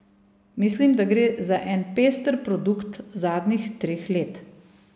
Mislim, da gre za en pester produkt zadnjih treh let.